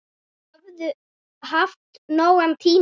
Þau höfðu haft nógan tíma.